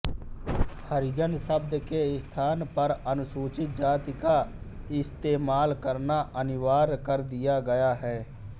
हरिजन शब्द के स्थान पर अनुसूचित जाति का स्तेमाल करना अनिवार्य कर दिया गया है